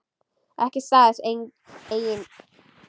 Ekki staðist eigin kröfur.